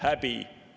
Häbi!